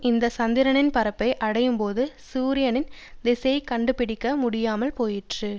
இந்த சந்திரனின் பரப்பை அடையும்போது சூரியனின் திசையைக் கண்டுபிடிக்க முடியாமல் போயிற்று